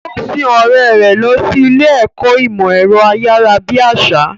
Ó sin ọ̀rẹ́ rẹ̀ lọ sí ilé ìkọ́ ìmọ̀ ẹ̀rọ ayárabíàṣá.